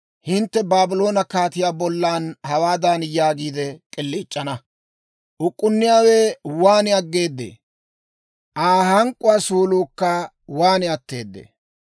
hintte Baabloone kaatiyaa bolla hawaadan yaagiide k'iliic'ana; «Uk'k'unniyaawe waan aggeedee; Aa hank'k'uwaa suuluukka waan atteedee!